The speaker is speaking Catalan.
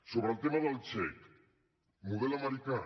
sobre el tema del xec model americà